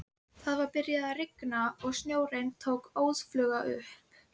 Það var byrjað að rigna og snjóinn tók óðfluga upp.